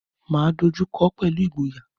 Máa dojú kọọ́ pẹ̀lú ìgboyà.